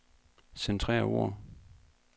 Centrer ord.